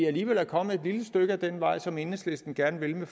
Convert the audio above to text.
alligevel er kommet et lille stykke af vejen som enhedslisten gerne vil med